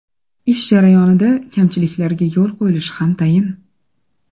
Ish jarayonida kamchiliklarga yo‘l qo‘yilishi ham tayin.